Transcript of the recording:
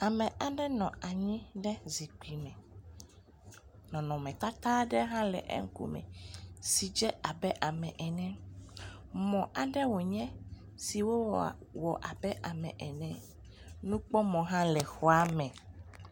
Ame aɖe nɔ anyi ɖe zikpui me. Nɔnɔme tata aɖe hã le eƒe ŋkume si dze abe ame ene. Mɔ aɖe wonye siwo wɔ abe ame ene. Nukpɔmɔ hã le xɔa me.